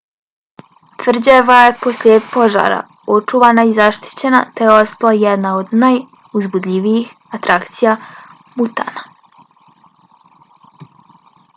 tvrđava je posle požara očuvana i zaštićena te je ostala jedna od najuzbudljivijih atrakcija butana